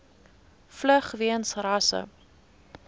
vlug weens rasse